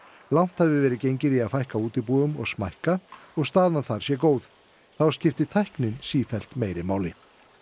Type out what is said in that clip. langt hafi verið gengið í að fækka útibúum og smækka og staðan þar sé góð þá skipti tæknin sífellt meira máli